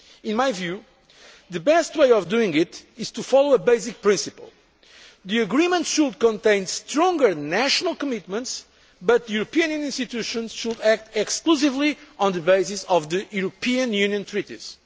and weeks. In my view, the best way of doing it is to follow a basic principle the agreement should contain stronger national commitments, but the European Union institutions should act exclusively on the basis of the European Union